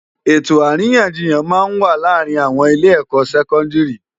Etó árinyánjiyán má n wá làárin âwòn ilé èkò sèkòndiri